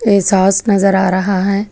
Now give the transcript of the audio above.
ये सॉस नजर आ रहा है।